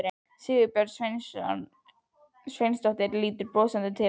Sigurbjörg Sveinsdóttir lítur brosandi til hans.